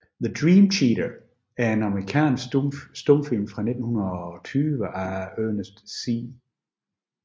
The Dream Cheater er en amerikansk stumfilm fra 1920 af Ernest C